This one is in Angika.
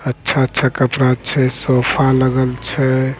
अच्छा-अच्छा कपड़ा छे सोफा लगल छै।